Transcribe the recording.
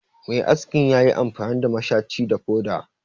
Mai askin ya yi amfani da mashaci da foda